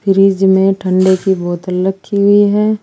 Fridge में ठंडे की बोतल रखी हुई है।